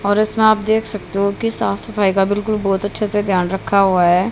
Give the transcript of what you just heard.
और इसमें आप देख सकते हो की साफ सफाई का बिल्कुल बहोत अच्छे से ध्यान रखा हुआ है।